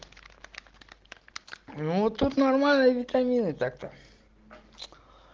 ну вот тут нормально витамины так то